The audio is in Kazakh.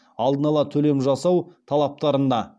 алдын ала төлем жасау талаптарына